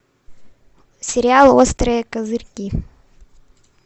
сериал острые козырьки